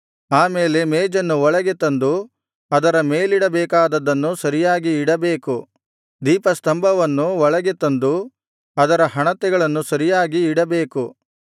ಆ ಮೇಲೆ ಮೇಜನ್ನು ಒಳಗೆ ತಂದು ಅದರ ಮೇಲಿಡಬೇಕಾದದ್ದನ್ನು ಸರಿಯಾಗಿ ಇಡಬೇಕು ದೀಪಸ್ತಂಭವನ್ನು ಒಳಗೆ ತಂದು ಅದರ ಹಣತೆಗಳನ್ನು ಸರಿಯಾಗಿ ಇಡಬೇಕು